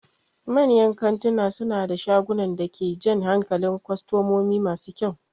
Manyan kantuna suna da shagunan da ke jan hankalin kwastomomi masu kyau.